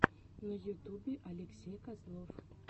на ютубе алексей козлов